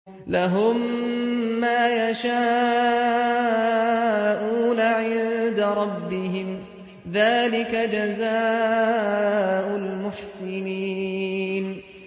لَهُم مَّا يَشَاءُونَ عِندَ رَبِّهِمْ ۚ ذَٰلِكَ جَزَاءُ الْمُحْسِنِينَ